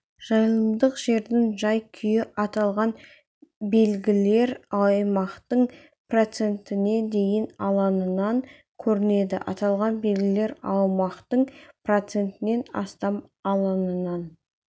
жайылымдық жердің жай-күйі аталған белгілер аумақтың процентіне дейінгі алаңынан көрінеді аталған белгілер аумақтың процентінен астам алаңынан